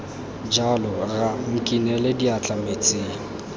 jalo rra nkinele diatla metsing